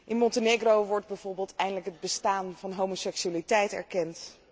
In Montenegro wordt bijvoorbeeld eindelijk het bestaan van homoseksualiteit erkend